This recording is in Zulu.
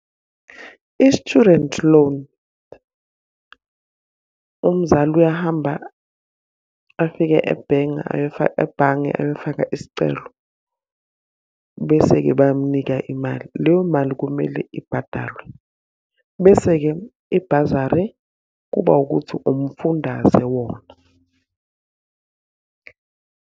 I-student loan, umzali uyahamba afike ebhenki ebhange ayofaka isicelo, bese-ke bayamunika imali. Leyo mali kumele ibhadalwe. Bese-ke ibhazari, kuba wukuthi umfundaze wona.